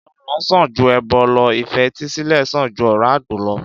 Ìgbọràn sàn ju ẹbọ lọ ìfetísílè sàn ju ọ̀rá àgbò lọ